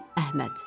Əhməd.